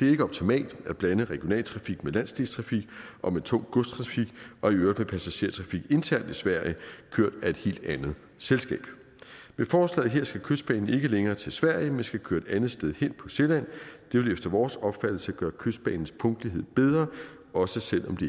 det er ikke optimalt at blande regionaltrafik med landsdelstrafik og med tung godstrafik og i øvrigt med passagertrafik internt i sverige kørt af et helt andet selskab med forslaget her skal kystbanen ikke længere til sverige men skal køre et andet sted hen på sjælland det vil efter vores opfattelse gøre kystbanens punktlighed bedre også selv om det